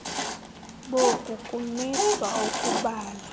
boku kumiswa ukubala